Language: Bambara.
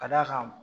Ka d'a kan